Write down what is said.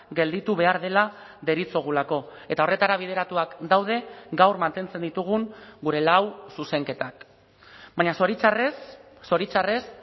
gelditu behar dela deritzogulako eta horretara bideratuak daude gaur mantentzen ditugun gure lau zuzenketak baina zoritxarrez zoritxarrez